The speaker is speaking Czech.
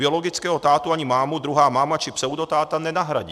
Biologického tátu ani mámu druhá máma či pseudotáta nenahradí.